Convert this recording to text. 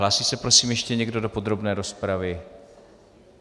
Hlásí se prosím ještě někdo do podrobné rozpravy?